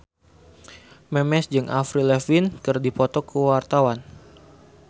Memes jeung Avril Lavigne keur dipoto ku wartawan